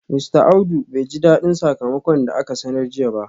Mista Audu bai ji dadin sakamakon da aka sanar jiya ba